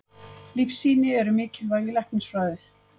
Lífsýni eru mikilvæg í læknisfræði.